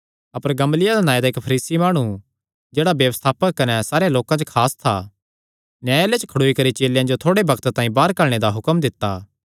अपर Gamaliel नांऐ दा इक्क फरीसी माणु जेह्ड़ा व्यवस्थापक कने सारेयां लोकां च खास था न्यायलय च खड़ोई करी चेलेयां जो थोड़े बग्त तांई बाहर घल्लणे दा हुक्म दित्ता